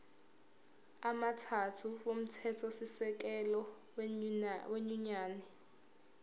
amathathu omthethosisekelo wenyunyane